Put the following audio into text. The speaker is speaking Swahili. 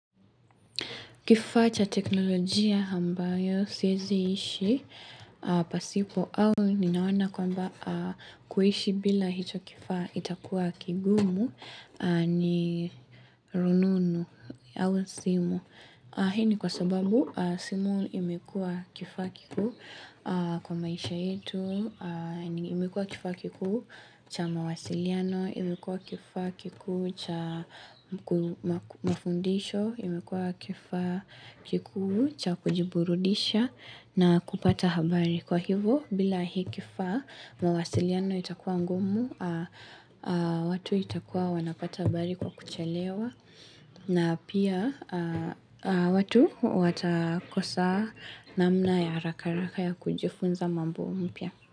Kifaa cha teknolojia ambayo siwezi ishi pasipo au ninaona kwamba kuishi bila hicho kifaa kitakuwa kigumu ni rununu au simu. Hii ni kwa sababu simu imekuwa kifaa kikuu kwa maisha yetu, imekuwa kifaa kikuu cha mawasiliano, imekua kifaa kikuu cha mafundisho, imekuwa kifaa kikuu cha kujiburudisha na kupata habari kwa hivo. Bila hii kifa mawasiliano itakuwa ngumu, watu watakua wanapata habari kwa kuchelewa na pia watu watakosa namna ya harakaharaka ya kujifunza mambo mpya.